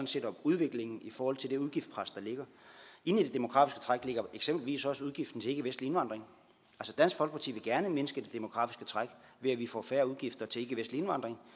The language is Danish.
set om udviklingen i forhold til det udgiftspres der ligger inde i det demografiske træk ligger eksempelvis også udgiften til ikkevestlig indvandring dansk folkeparti vil gerne mindske det demografiske træk ved at vi får færre udgifter til ikkevestlig indvandring